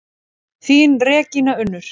Þín Regína Unnur.